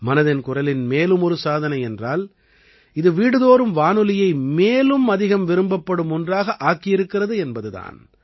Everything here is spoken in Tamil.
மனதின் குரலின் மேலும் ஒரு சாதனை என்றால் இது வீடுதோறும் வானொலியை மேலும் அதிகம் விரும்பப்படும் ஒன்றாக ஆக்கியிருக்கிறது என்பது தான்